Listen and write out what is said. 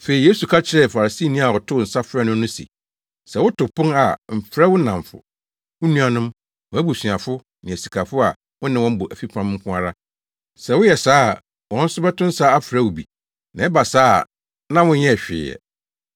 Afei Yesu ka kyerɛɛ Farisini a ɔtoo nsa frɛɛ no no se, “Sɛ woto pon a mfrɛ wo nnamfo, wo nuanom, wʼabusuafo ne asikafo a wo ne wɔn bɔ fipam nko ara; sɛ woyɛ saa a wɔn nso bɛto nsa afrɛ wo bi na ɛba saa a na wonyɛɛ hwee ɛ.